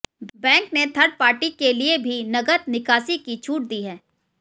bank ने third party के लिए भी नगद निकासी की छूट दी है